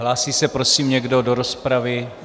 Hlásí se, prosím, někdo do rozpravy?